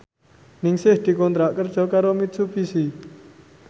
Ningsih dikontrak kerja karo Mitsubishi